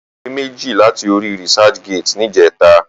Mo gba ìwé méjì láti orí researchgate níjẹta.